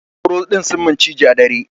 Sauro din sun musu ciji a dare.